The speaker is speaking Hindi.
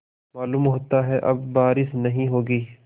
मालूम होता है अब बारिश नहीं होगी